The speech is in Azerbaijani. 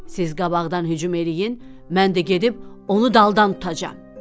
Siz qabaqdan hücum eləyin, mən də gedib onu daldan tutacağam.